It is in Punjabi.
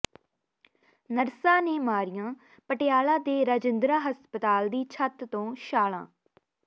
ਨਰਸਾਂ ਨੇ ਮਾਰੀਆਂ ਪਟਿਆਲਾ ਦੇ ਰਾਜਿੰਦਰਾ ਹਸਪਤਾਲ ਦੀ ਛੱਤ ਤੋਂ ਛਾਲ਼ਾਂ